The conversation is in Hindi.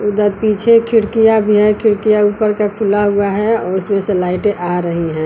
उधर पीछे खिड़कियां भी है। खिड़कियां ऊपर का खुला हुआ है और उसमें से लाइटें आ रही हैं।